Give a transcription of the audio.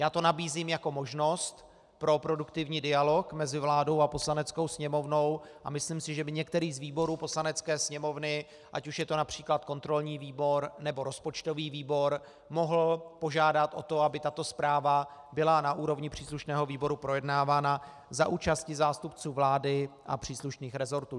Já to nabízím jako možnost pro produktivní dialog mezi vládou a Poslaneckou sněmovnou a myslím si, že by některý z výborů Poslanecké sněmovny, ať už je to například kontrolní výbor, nebo rozpočtový výbor, mohl požádat o to, aby tato zpráva byla na úrovni příslušného výboru projednávána za účasti zástupců vlády a příslušných resortů.